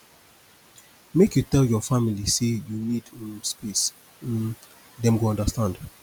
make you tell your family sey you need um space um dem go understand